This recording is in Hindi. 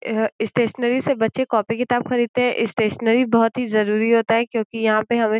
एह स्टेशनरी से बच्चे कॉपी किताब खरीदते हैं। स्टेशनरी बहोत ही जरूरी होता है क्योंकि यहां पे हमें --